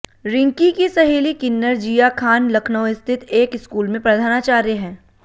रिंकी की सहेली किन्नर जिया खान लखनऊ स्थित एक स्कूल में प्रधानाचार्य हैं